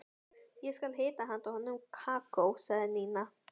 Ég skal hita handa honum kakó sagði Nína.